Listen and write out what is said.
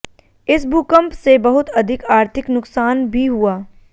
इस भूकम्प से बहुत अधिक आर्थिक नुक़सान भी हुआ